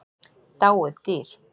Dáið dýr.